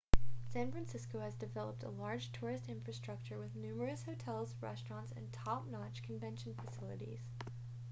san francisco has developed a large tourist infrastructure with numerous hotels restaurants and top-notch convention facilities